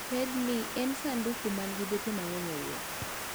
Pedni en sandu man gi bepe mang'eny e iye